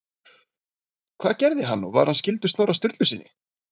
Hvað gerði hann og var hann skyldur Snorra Sturlusyni?